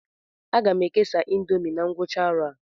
Aga m ekesa índomi na ngwụcha arọ a